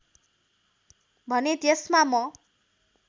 भने त्यसमा म